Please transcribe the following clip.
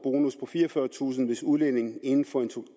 fireogfyrretusind hvis udlændingen inden for